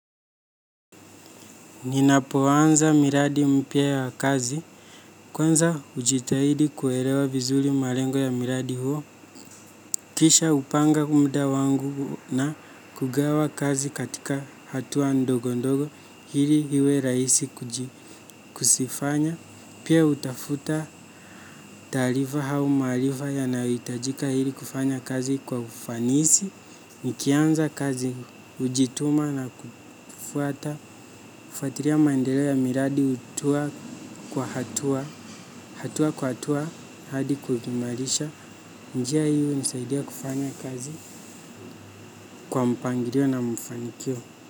Ninapoanza miradi mpya ya kazi. Kwanza ujitahidi kuelewa vizuri malengo ya miradi huo. Kisha upanga huu mda wangu na kugawa kazi katika hatua ndogo ndogo hili hiwe rahisi kuzifanya. Pia utafuta taarifa au maarifa yanayo hiitajika hili kufanya kazi kwa ufanisi, nikianza kazi ujituma na kufuata, hufatiria maendeleo ya miradi utua kwa hatua, hatua kwa hatua hadi kuikimarisha, njia hii unisaidia kufanya kazi kwa mpangirio na mfanikio.